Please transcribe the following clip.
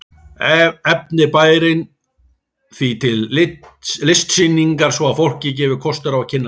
Efnir bærinn því til listsýningar svo að fólki gefist kostur á að kynnast henni.